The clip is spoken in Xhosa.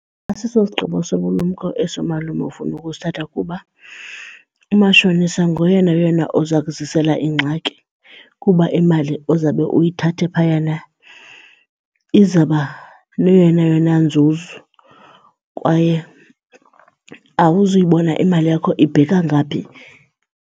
Asiso sigqibo sobulumko eso malume ufuna ukusithatha kuba umashonisa ngoyena yena uza kuzisela iingxaki kuba imali ozawube uyithathe phayana izawuba neyona yona nzuzo kwaye awuzuyibona imali yakho ibheka ngaphi.